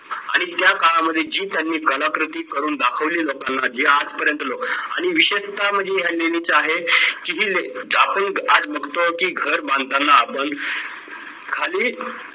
आणि त्या काळामध्ये जी त्यांनी कलाकृती करून दाखवली लोकांना जी आज पर्यंत लोकांनी आणि विशेषतः म्हणजे ह्या लेणी ज्या आहेत की ही आज बघतो की घर बांधताना पण खाली